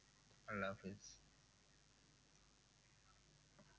আল্লাহ হাফেজ